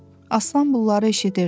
Aslan bunları eşidirdi.